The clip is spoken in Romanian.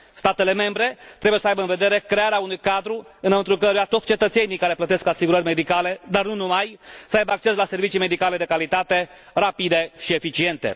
Statele membre trebuie să aibă în vedere crearea unui cadru înăuntrul căruia toți cetățenii care plătesc asigurări medicale, dar nu numai, să aibă acces la servicii medicale de calitate, rapide și eficiente.